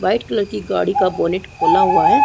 White colour गाड़ी का bonnet खुला हुआ है।